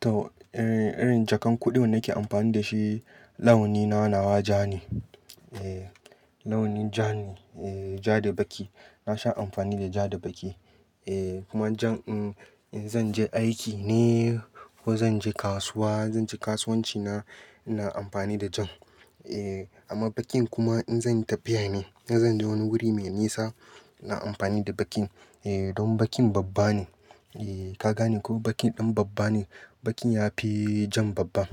To, irin jakan kuɗin da nake amfani da shi, launin na nawa ja ne. Launin ja ne. Ja da baƙi. Na sha amfani da ja da baƙi. Kuma jan, in zan je aiki ne ko zan je kasuwa, zan je kasuwanci na, ina amfani da jan. Amma baƙin kuma in zan yi tafiya ne, in zan je wani wuri mai nisa, ina amfani da baƙin. Don baƙin babba ne. Ka gane ko? Baƙin ɗan babba ne. Baƙin ya fi jan babba.